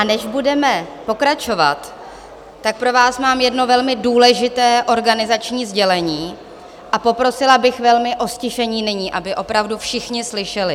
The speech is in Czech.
A než budeme pokračovat, tak pro vás mám jedno velmi důležité organizační sdělení a poprosila bych velmi o ztišení nyní, aby opravdu všichni slyšeli.